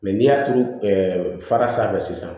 n'i y'a turu fara sanfɛ sisan